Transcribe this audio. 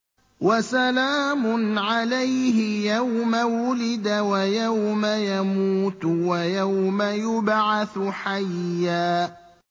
وَسَلَامٌ عَلَيْهِ يَوْمَ وُلِدَ وَيَوْمَ يَمُوتُ وَيَوْمَ يُبْعَثُ حَيًّا